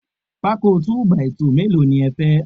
Pákó 2 by 2 mélòó ni ẹ fẹ́?